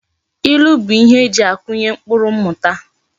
Ilu bu ihe eji akunye mkpuru mmuta